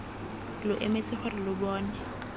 lo emetse gore lo bone